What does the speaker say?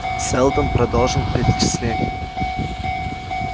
сэлдон продолжил перечисление